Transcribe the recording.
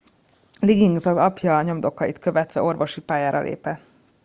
liggins az apja nyomdokait követve orvosi pályára lépett